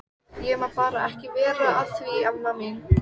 Ég má bara ekki vera að því amma mín.